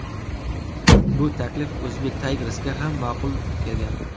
Bu taklif Uzbek Tigers’ga ham ma’qul kelgan.